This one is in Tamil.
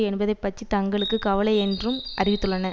என்பதை பற்றி தங்களுக்கு கவலையில்லையென்றும் அறிவித்துள்ளன